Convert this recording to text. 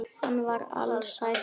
Hann var ALSÆLL.